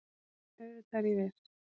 Já, auðvitað er ég viss